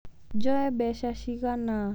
Njoe mbeca cigana?